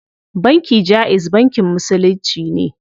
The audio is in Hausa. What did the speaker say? Banki jaiz bankin musulunci ne.